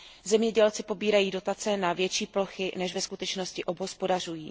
Zemědělci pobírají dotace na větší plochy než ve skutečnosti obhospodařují.